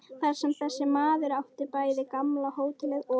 Þar sem þessi maður átti bæði gamla hótelið og